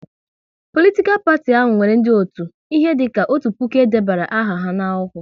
Politikal parti ahụ nwere ndị otu, ihe dika otu puku e debere aha ha n'akwụkwọ